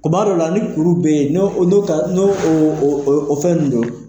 Kuma dɔ la ni kuru bɛ yen n'o ka n'o o fɛn ninnu don